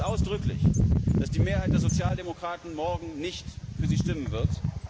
Ich bedaure es ausdrücklich, dass die Mehrheit der Sozialdemokraten morgen nicht für Sie stimmen wird.